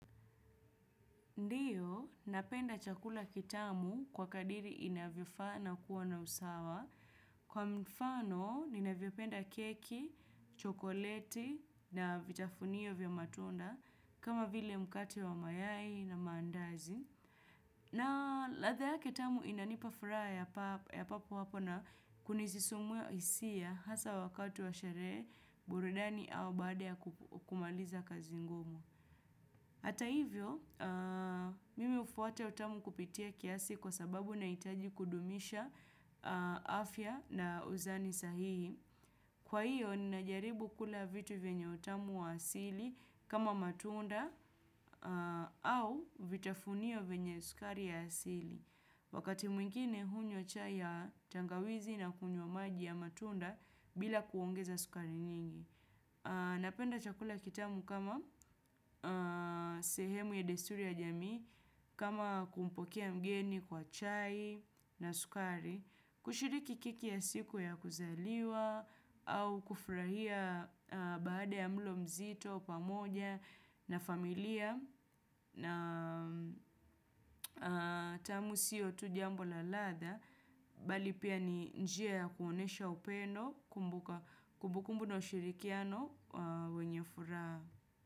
Ndiyo, napenda chakula kitamu kwa kadiri inavyofaa na kuwa na usawa. Kwa mfano, ninavyopenda keki, chokoleti na vitafunio vya matunda kama vile mkate wa mayai na maandazi. Na latha yake kitamu inanipa furaha ya papo hapo na kunisisimua hisia hasaa wakati wa sherehe buridani au baada ya kumaliza kazi ngumu. Hata hivyo, mimi hufwata utamu kupitia kiasi kwa sababu nahitaji kudumisha afya na uzani sahihi. Kwa hiyo, ninajaribu kula vitu venye utamu wa asili kama matunda au vitafunio venye sukari ya asili. Wakati mwingine, hunywa chai ya tangawizi na kunywa maji ya matunda bila kuongeza sukari nyingi. Napenda chakula kitamu kama sehemu ya desturi ya jamii, kama kumpokea mgeni kwa chai na sukari, kushiriki keki ya siku ya kuzaliwa au kufurahia baada ya mlo mzito, pamoja na familia na tamu siyo tu jambo la latha. Bali pia ni njia ya kuonyesha upendo kumbukumbu na ushirikiano wenye furaha.